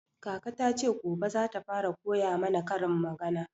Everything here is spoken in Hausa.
Kaka ta ce gobe zata fara koya mana karin magana